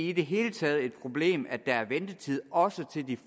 i det hele taget et problem at der er ventetid også til de